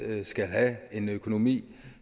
skal have en økonomi